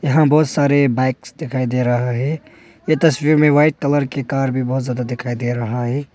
यहां बहुत सारे बाइक्स दिखाई दे रहा है ये तस्वीर में वाइट कलर की कार भी बहुत ज्यादा दिखाई दे रहा है।